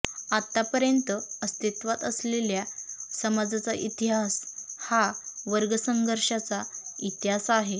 आतापर्यंत अस्तित्वात असलेल्या समाजाचा इतिहास हा वर्ग संघर्षांचा इतिहास आहे